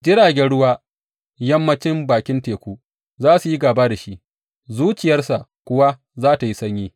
Jiragen ruwa yammancin bakin teku za su yi gāba da shi, zuciyarsa kuwa za tă yi sanyi.